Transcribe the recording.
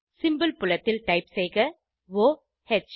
symbol புலத்தில் type செய்க o ஹ்